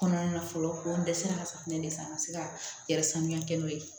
Kɔnɔna na fɔlɔ ko n dɛsɛra ka safunɛ de san n ka se ka yɛrɛ sanuya kɛ n'o ye